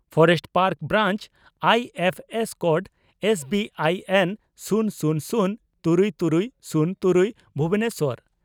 forest park branch I F S code S B I N ᱥᱩᱱ ᱥᱩᱱ ᱥᱩᱱ ᱛᱩᱨᱩᱭ ᱛᱩᱨᱩᱭ ᱥᱩᱱ ᱛᱩᱨᱩᱭ ) ᱵᱷᱩᱵᱚᱱᱮᱥᱚᱨ